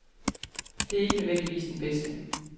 Det er ikke nødvendigvis den bedste.